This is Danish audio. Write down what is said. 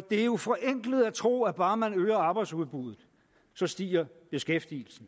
det er jo forenklet at tro at bare man øger arbejdsudbuddet så stiger beskæftigelsen